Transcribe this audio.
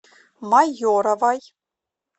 майоровой